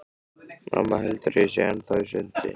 Mamma heldur að ég sé ennþá í sundi.